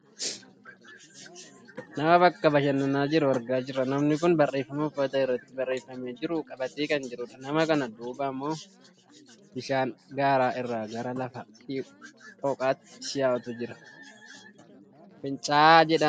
Nama bakka bashananaa jiru argaa jirra. Namni kun barreefama uffata irratti barreefamee jiru qabatee kan jirudha. Nama kana duuba ammoo bishaan gaara irraa gara lafa dhooqaatti yaa'utu jira . Fincaa'aa jedhama.